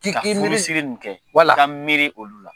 ka furusiri nin kɛ , wala, ka miiri olu la.